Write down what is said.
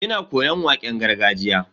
Ina koyon waƙen gargajiya.